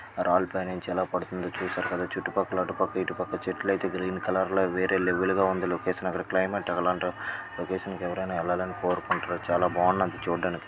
రాళ్లు పైనుంచి ఎలా పడుతుందో చుట్టూ పక్కల అటు పక్క ఇటు పక్క చెట్లు ఐతే గ్రీన్ కలర్ గ వేరేయ్ లెవెల్ గ ఉంది లొకేషన్ అక్కడ క్లైమేట్ లొకేషన్ కి ఎవరైనా ఎల్లలనే కోరుకుంటారు చాలా బాగున్నది చూడ్డానికి.